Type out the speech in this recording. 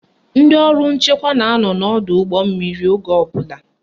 Ndị ọrụ nchekwa na-anọ n'ọdọụgbọmmiri oge ọbụla